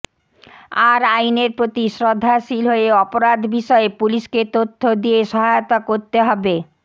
আর আইনের প্রতি শ্রদ্ধাশীল হয়ে অপরাধ বিষয়ে পুলিশকে তথ্য দিয়ে সহায়তা করতে হবে